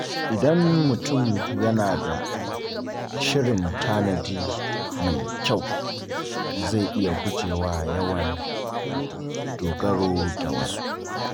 Idan mutum yana da shirin tanadi mai kyau, zai iya guje wa yawan dogaro da wasu.